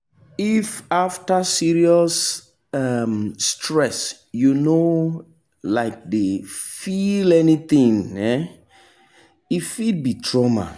if after serious um stress you no um dey feel anything e um fit be trauma.